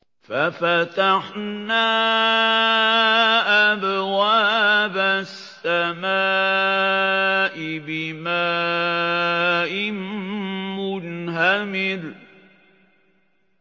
فَفَتَحْنَا أَبْوَابَ السَّمَاءِ بِمَاءٍ مُّنْهَمِرٍ